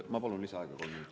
Ma palun lisaaega kolm minutit.